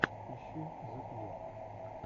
ищи зе кью